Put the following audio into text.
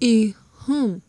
e um